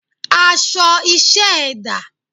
Aṣọ iṣẹ́ ẹ dà?